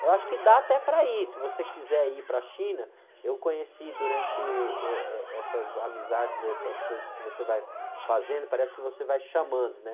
Eu acho que dá até para ir, se você quiser ir para a China, eu conheci durante, êh, eh,, eh, essas amizades, essas coisas que você vai fazendo, parece que você vai chamando, né?